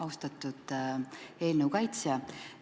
Austatud eelnõu kaitsja!